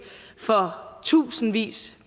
for tusindvis